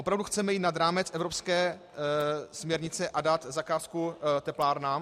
Opravdu chceme jít nad rámec evropské směrnice a dát zakázku teplárnám?